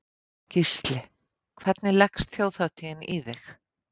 Gísli: Hvernig leggst Þjóðhátíðin í þig?